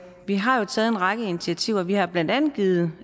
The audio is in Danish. vi har jo taget en række initiativer vi har blandt andet givet